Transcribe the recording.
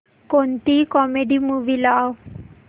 कोणतीही comedy movie लाव